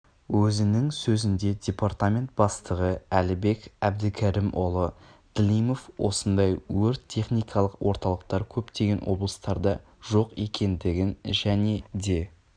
өзінің сөзінде департамент бастығы әлібек әбдікәрімұлы длимов осындай өрт-техникалық орталықтар көптеген облыстарда жоқ екендігін және де